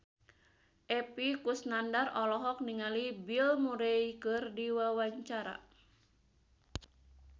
Epy Kusnandar olohok ningali Bill Murray keur diwawancara